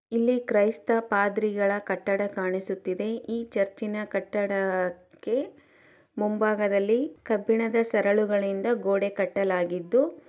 ಇಲ್ಲಿ ಕ್ರೈಸ್ತ ಪಾದ್ರಿಗಳ ಕಟ್ಟಡ ಕಾಣಿಸುತ್ತಿದೆ. ಈ ಚರ್ಚಿನ ಕಟ್ಟಡಕ್ಕೆ ಮುಂಭಾಗದಲ್ಲಿ ಕಬ್ಬಿಣದ ಸರಳುಗಳಿಂದ ಗೋಡೆ ಕಟ್ಟಲಾಗಿದ್ದು--